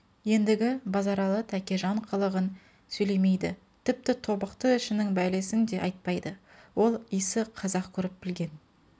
ендігі базаралы тәкежан қылығын сөйлемейді тіпті тобықты ішінің бәлесін де айтпайды ол исі қазақ көріп білген